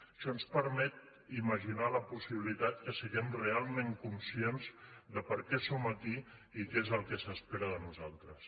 això ens permet imaginar la possibilitat que siguem realment conscients de per què som aquí i què és el que s’espera de nosaltres